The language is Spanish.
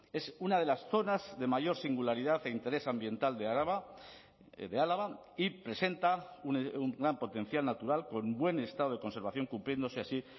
es una de las zonas de mayor singularidad e interés ambiental de araba de álava y presenta un gran potencial natural con buen estado de conservación cumpliéndose así